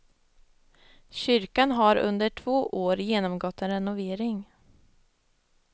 Kyrkan har under två år genomgått en renovering.